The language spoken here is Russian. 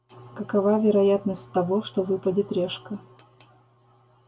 какова вероятность того что выпадет решка